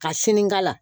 Ka sinikala